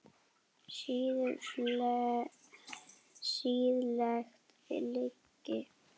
Siðleg lygi.